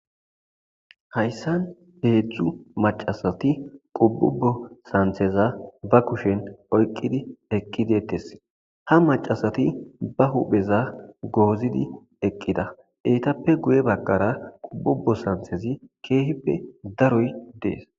Hayssan heedzdjzu macasati qubbubo santheza ba kushen oyqqidi eqqidetes ha macasati ba hupheza goozidi eqqida eetappe guye bagkara qubbubo santhezi keehippe daroy dees.